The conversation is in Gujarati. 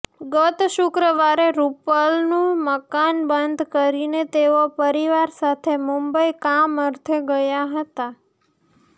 ગત શુક્રવારે રૃપાલનું મકાન બંધ કરીને તેઓ પરિવાર સાથે મુંબઈ કામઅર્થે ગયા હતા